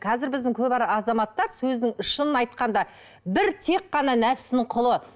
қазір біздің көп азаматтар сөздің шынын айтқанда бір тек қана нәпсінің құлы